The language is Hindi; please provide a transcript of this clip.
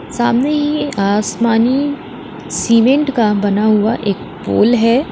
सामने ही आसमानी सीमेंट का बना हुआ एक पोल है।